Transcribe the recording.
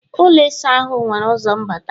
ụlọ ịsa ahụ nwere ụzọ mbata